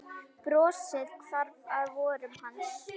Brosið hvarf af vörum hans.